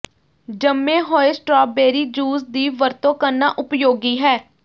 ਜੰਮੇ ਹੋਏ strawberry juice ਦੀ ਵਰਤੋਂ ਕਰਨਾ ਉਪਯੋਗੀ ਹੈ